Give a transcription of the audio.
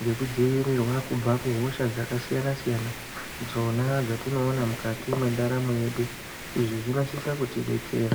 ngekudziirirwa kubva kuhosha dzakasiyana siyana dzona dzatinoona mukati mwendaramo yedu izvi zvinosisa kutidetsera.